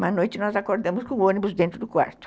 Uma noite nós acordamos com o ônibus dentro do quarto.